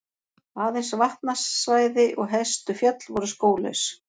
Aðeins vatnasvæði og hæstu fjöll voru skóglaus.